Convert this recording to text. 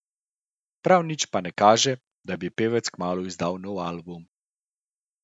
Prav nič pa ne kaže, da bi pevec kmalu izdal nov album.